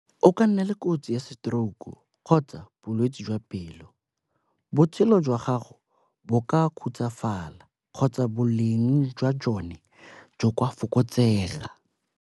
O ka nna le kotsi ya stroke-u kgotsa bolwetsi jwa pelo. Botshelo jwa gago bo ka khutswafala kgotsa boleng jwa jone jo kwa fokotsega.